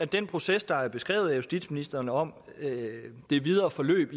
den proces der er beskrevet af justitsministeren om det videre forløb